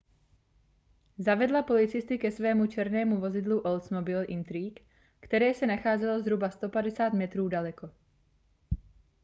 zavedla policisty ke svému černému vozidlu oldsmobile intrigue které se nacházelo zhruba 150 metrů daleko